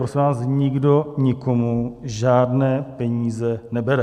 Prosím vás, nikdo nikomu žádné peníze nebere.